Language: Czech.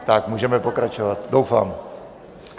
Tak, můžeme pokračovat, doufám.